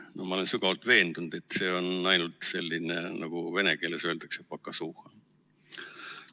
No ma olen sügavalt veendunud, et see on ainult selline, nagu vene keeles öeldakse, pokazuhha.